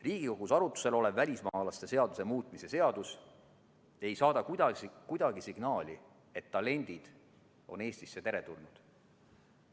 Riigikogus arutlusel olev välismaalaste seaduse muutmise seadus ei saada kuidagi signaali, et talendid on Eestisse teretulnud.